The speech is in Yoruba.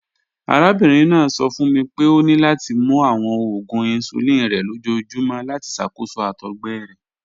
Arabinrin naa sọ fun mi pe o ni lati mu awọn oògùn insulin rẹ lojoojumọ lati ṣakoso àtọgbẹ rẹ